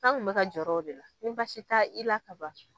An kun bɛ ka jɔrɔ o de la, ni basi taa i la ka ban.